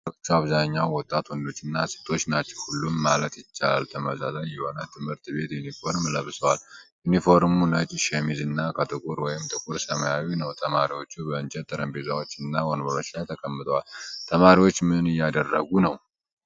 ተማሪዎቹ: በአብዛኛው ወጣት ወንዶችና ሴቶች ናቸው። ሁሉም ማለት ይቻላል ተመሳሳይ የሆነ የትምህርት ቤት ዩኒፎርም ለብሰዋል። ዩኒፎርሙ ነጭ ሸሚዝ እና ከጥቁር ወይም ጥቁር ሰማያዊ ነው። ተማሪዎቹ በእንጨት ጠረጴዛዎች እና ወንበሮች ላይ ተቀምጠዋል። ተማሪዎች ምን እያደረጉ ነው?